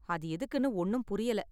அது எதுக்குனு ஒண்ணும் புரியல.